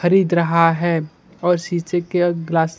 खरीद रहा है और शीशे के ग्लास --